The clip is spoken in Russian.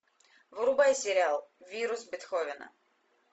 врубай сериал вирус бетховена